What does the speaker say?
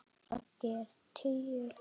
Raggi er tíu.